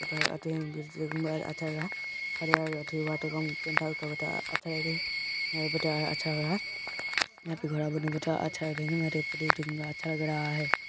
यहा पे अच्छा लग रहा हरियर वाटर पेंट अच्छा लग रहा हैं |